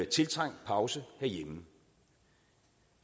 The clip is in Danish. tiltrængt pause herhjemme